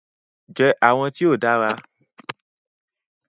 Jẹ awọn ti o dara bayi